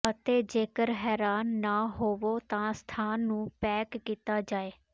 ਅਤੇ ਜੇਕਰ ਹੈਰਾਨ ਨਾ ਹੋਵੋ ਤਾਂ ਸਥਾਨ ਨੂੰ ਪੈਕ ਕੀਤਾ ਜਾਏ